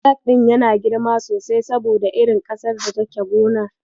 Salak ɗin yana girma sosai saboda irin ƙasar da take gonar.